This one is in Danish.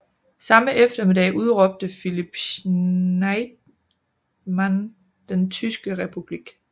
Samme eftermiddag udråbte Philipp Scheidemann den tyske republik